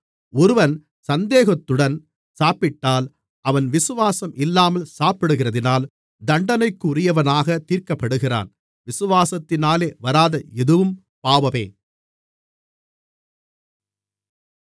ஒருவன் சந்தேகத்துடன் சாப்பிட்டால் அவன் விசுவாசம் இல்லாமல் சாப்பிடுகிறதினால் தண்டனைக்குரியவனாகத் தீர்க்கப்படுகிறான் விசுவாசத்தினாலே வராத எதுவும் பாவமே